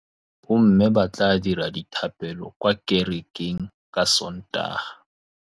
Bommê ba tla dira dithapêlô kwa kerekeng ka Sontaga.